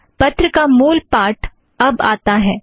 पत्र का मूल पाठ अब आता है